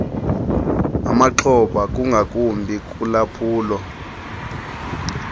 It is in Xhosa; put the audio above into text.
amaxhoba ingakumbi kulwaphulo